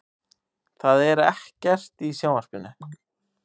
Það er ekkert í sjónvarpinu.